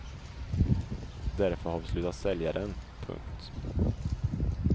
Därför har vi slutat sälja den. punkt